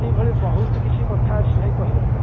ଏଇଭଳି ବହୁତ କିଛି କଥା ଅଛି ଭାଇ କହିବା ପାଇଁ